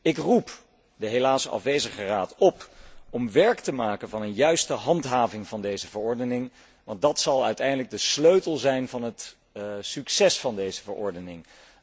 Ik roep de helaas afwezige Raad op om werk te maken van een juiste handhaving van deze verordening, want die zal uiteindelijk de sleutel zijn van het succes van deze verordening.